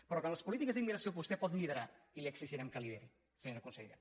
però que en les polítiques d’immigració vostè pot liderar i li exigirem que lideri senyor consellera